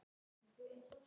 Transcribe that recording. Ég er svo einmana pabbi.